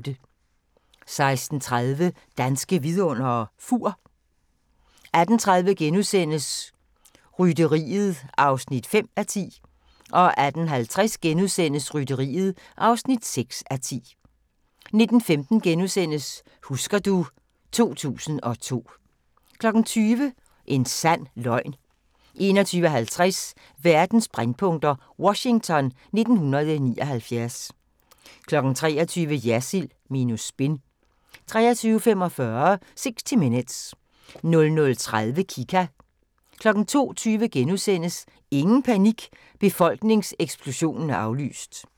16:30: Danske Vidundere: Fur 18:30: Rytteriet (5:10)* 18:50: Rytteriet (6:10)* 19:15: Husker du ... 2002 * 20:00: En sand løgn 21:50: Verdens brændpunkter: Washington 1979 23:00: Jersild minus spin 23:45: 60 Minutes 00:30: Kika 02:20: Ingen panik – befolkningseksplosionen er aflyst! *